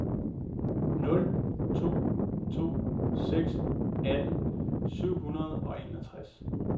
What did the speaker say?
nul to to seks atten syv hundrede og enogtres